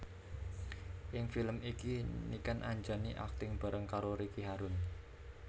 Ing film iki Niken Anjani akting bareng karo Ricky Harun